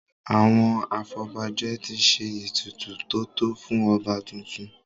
Àwọn afọbajẹ ti ṣe ètùtù tótọ́ fún ọba tuntun.